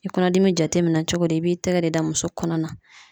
I kɔnɔdimi jateminɛ cogo di ? I b'i tɛgɛ de da muso kɔnɔ na .